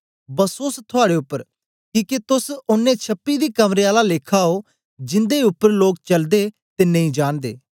बसोस थुआड़े उपर किके तोस ओनें छपी दी कबरें आला लेखा ओ जिंदे उपर लोक चलदे ते नेई जानदे